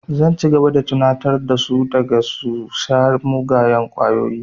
Zan ci gaba da tunatar da su kada su sha miyagun ƙwayoyi